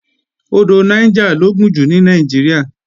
Odò Niger lo gùn jù ní Nàìjíríà